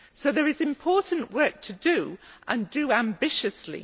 So there is important work to do, and do ambitiously.